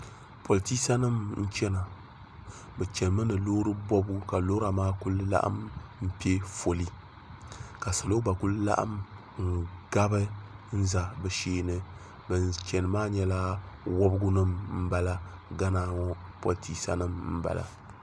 Politisa nima n chena bɛ chenimi ni loori bobigu ka lora maa kuli laɣim piɛ foli ka salo gba kuli laɣim n gabi za bɛ sheeni ban cheni maa nyɛla wobgu nima m bala gana ŋɔ politisa nima m bala.